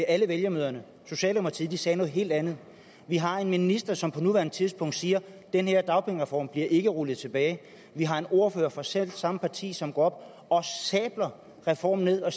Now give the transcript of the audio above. alle valgmøderne socialdemokratiet sagde noget helt andet vi har en minister som på nuværende tidspunkt siger at den her dagpengereform ikke bliver rullet tilbage vi har en ordfører fra selv samme parti som gik op og sablede reformen ned og